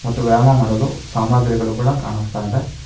ಮತ್ತು ವ್ಯಾಯಾಮ ಮಾಡಲು ಸಾಮಗ್ರಿಗಳು ಕೂಡ ಕಾಣಿಸ್ತಾ ಇದೆ.